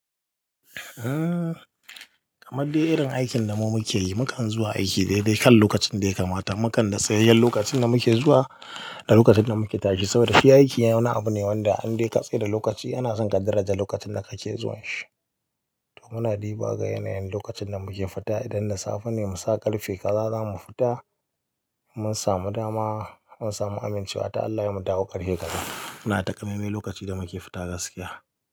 Kamar dai irin aikin da mu muke yi, mukan zuwa aiki dai dai kan lokacin da yakamata. Mukan da sayayyen lokacin da muke zuwa da lokacin da muke tashi saboda shi aiki iya na wani abu ne wanda an dai katse da lokaci. Yana son ka daraja lokacin da kake zuwan shi. To muna riba ga yanayin lokacin da muke fita. Idan da safe ne, mu sa ƙarfe kaza za mu fita. Mun samu dama, mun samu amincewa ta Allah yayi mu dawo ƙarfe kaza. Muna taƙa mai mai lokaci da muke fita gaskiya.